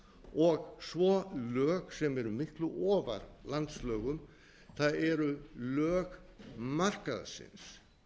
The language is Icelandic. og svo lög sem eru miklu ofar landslögum það eru lög markaðsins